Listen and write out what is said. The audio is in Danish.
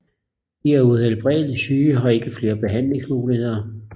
De er uhelbredeligt syge og har ikke flere behandlingsmuligheder